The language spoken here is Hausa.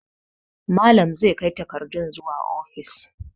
Malam zai kai takardun zuwa ofis.